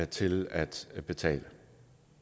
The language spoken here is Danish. til at betale